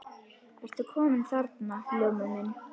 Ertu kominn þarna, Ljómi minn.